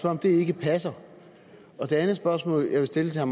om det ikke passer det andet spørgsmål jeg vil stille herre